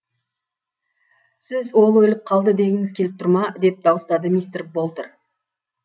сіз ол өліп қалды дегіңіз келіп тұр ма деп дауыстады мистер болтер